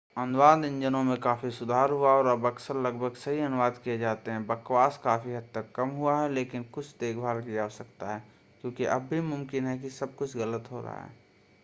अनुवाद इंजनों में काफी सुधार हुआ है और अब अक्सर लगभग सही अनुवाद किये जाते हैं बकवास काफी हद तक कम हुआ है लेकिन कुछ देखभाल की आवश्यकता है क्योंकि अब भी मुमकिन है कि सब कुछ गलत हो रहा हो।